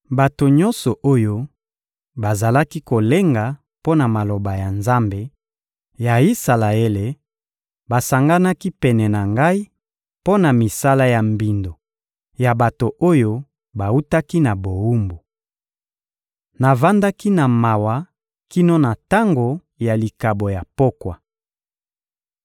Bato nyonso oyo bazalaki kolenga mpo na maloba na Nzambe ya Isalaele basanganaki pene na ngai, mpo na misala ya mbindo ya bato oyo bawutaki na bowumbu. Navandaki na mawa kino na tango ya likabo ya pokwa.